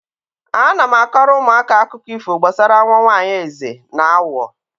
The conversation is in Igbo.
Ana m akọrọ ụmụaka akụkọ ifo gbasara nwa nwaanyị eze na awọ.